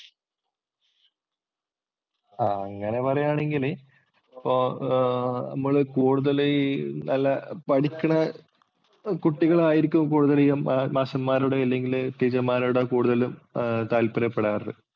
ആഹ് അങ്ങനെ പറയുകയാണെങ്കിൽ അപ്പോൾ നമ്മൾ കൂടുതല് ഈ പഠിക്കണ കുട്ടികളായിരിക്കും ഈ കൂടുതല് മാഷന്മാരുടെ അല്ലെങ്കില്‍ ടീച്ചര്‍മാരുടെ കൂടുതലും താല്പര്യപ്പെടാറ്.